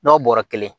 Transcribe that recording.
N'a bɔra kelen ye